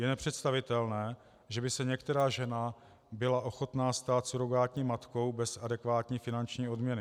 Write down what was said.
Je nepředstavitelné, že by se některá žena byla ochotná stát surogátní matkou bez adekvátní finanční odměny.